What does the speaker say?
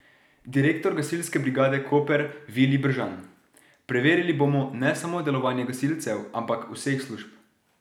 Direktor gasilske brigade Koper Vilij Bržan: "Preverili bomo ne samo delovanje gasilcev, ampak vseh služb.